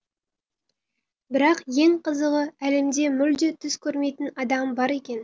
бірақ ең қызығы әлемде мүлде түс көрмейтін адам бар екен